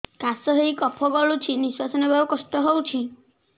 କାଶ ହେଇ କଫ ଗଳୁଛି ନିଶ୍ୱାସ ନେବାକୁ କଷ୍ଟ ହଉଛି